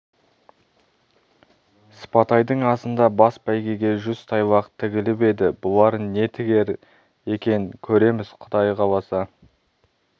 сыпатайдың асында бас бәйгеге жүз тайлақ тігіліп еді бұлар не тігер екен көреміз құда қаласа